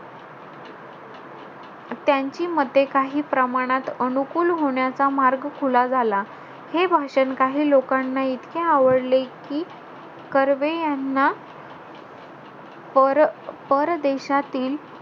त्यांची मते काही प्रमाणात अनुकूल होण्याचा मार्ग खुला झाला. हे भाषण काही लोकांना इतके आवडले कि, कर्वे यांना पर~ परदेशातील,